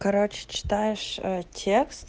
короче читаешь те